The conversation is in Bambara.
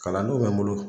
Kalandenw bɛ n bolo